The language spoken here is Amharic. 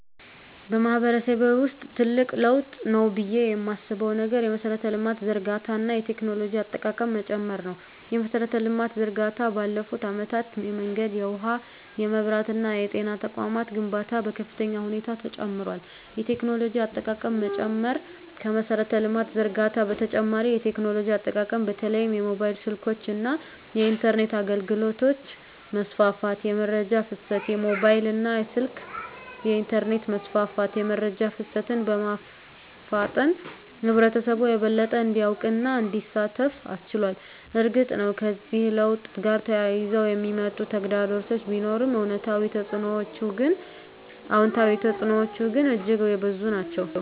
በማህበረሰቤ ውስጥ ትልቅ ለውጥ ነው ብዬ የማስበው ነገር የመሠረተ ልማት ዝርጋታ እና የቴክኖሎጂ አጠቃቀም መጨመር ነው። የመሠረተ ልማት ዝርጋታ ባለፉት አመታት የመንገድ፣ የውሃ፣ የመብራት እና የጤና ተቋማት ግንባታ በከፍተኛ ሁኔታ ጨምሯል። የቴክኖሎጂ አጠቃቀም መጨመር ከመሠረተ ልማት ዝርጋታ በተጨማሪ የቴክኖሎጂ አጠቃቀም በተለይም የሞባይል ስልኮች እና የኢንተርኔት አገልግሎት መስፋፋት። * የመረጃ ፍሰት: የሞባይል ስልክና የኢንተርኔት መስፋፋት የመረጃ ፍሰትን በማፋጠን ህብረተሰቡ የበለጠ እንዲያውቅና እንዲሳተፍ አስችሏል። እርግጥ ነው፣ ከዚህ ለውጥ ጋር ተያይዘው የሚመጡ ተግዳሮቶች ቢኖሩም፣ አዎንታዊ ተፅዕኖዎቹ ግን እጅግ የበዙ ናቸው።